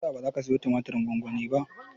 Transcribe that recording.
Menene yasa baka siyo tumatirin gwamgwanin ba?